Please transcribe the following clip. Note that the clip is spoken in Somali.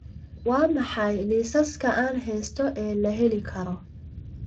waa maxay liisaska aan haysto ee la heli karo